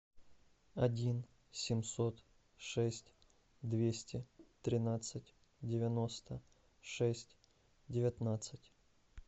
один семьсот шесть двести тринадцать девяносто шесть девятнадцать